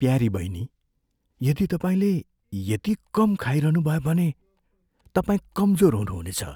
प्यारी बहिनी, यदि तपाईँले यति कम खाइरहनुभयो भने तपाईँ कमजोर हुनुहुनेछ।